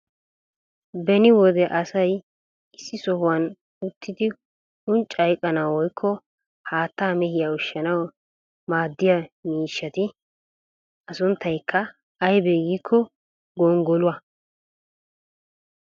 beni wode asay issi sohuwan uttidi unccaa iqqanawu woykko haattaa mehiya ushshanawu maadiya miishshati miishshaa. a sunttaykka aybee giikko gonggoluwa.